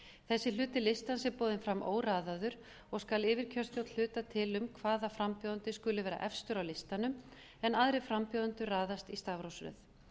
þessi hluti listans er boðinn fram óraðaður og skal yfirkjörstjórn hluta til um hvaða frambjóðandi skuli vera efstur á listanum en aðrir frambjóðendur raðast í stafrófsröð